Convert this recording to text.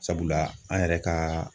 Sabula an yɛrɛ ka